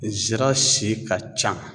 Zira si ka can.